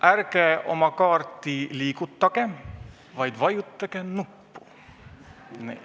Ärge oma kaarti liigutage, vaid vajutage nuppu.